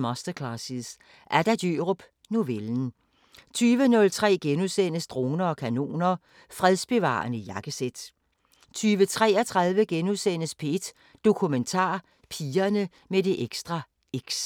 Masterclasses – Adda Djørup: Novellen * 20:03: Droner og kanoner: Fredsbevarende jakkesæt * 20:33: P1 Dokumentar: Pigerne med det ekstra X *